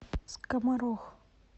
скоморох